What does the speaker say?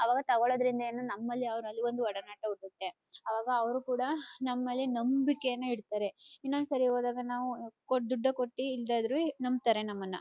ಅವಾಗ ತಗೋಳೋದ್ರಿಂದ ಏನು ನಮ್ಮಲಿ ಅವರಲ್ಲಿ ಒಂದು ಒಡನಾಟ ಹುಟ್ಟುತ್ತೆ ಅವಾಗ ಅವರು ಕೂಡ ನಮ್ಮಲಿ ನಂಬೀಕೆನಾ ಇಡ್ತಾರೆ ಇನ್ನೊಂದ್ಸಲಿ ಹೋದಾಗ ನಾವು ದೊಡ್ಡಕೊಟ್ಟಿ ಇಲ್ದೇಇದ್ರು ನಂಬತರೇ ನಮ್ಮನ.